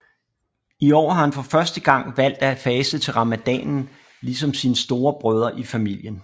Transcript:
I år har han for første gang valgt at faste til ramadanen ligesom sine store brødre i familien